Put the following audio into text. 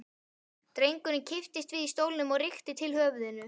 Drengurinn kipptist við í stólnum og rykkti til höfðinu.